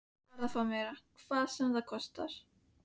Ég varð að fá meira, hvað sem það kostaði.